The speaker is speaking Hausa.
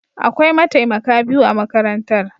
Akwai mataimaka biyu a makarantar.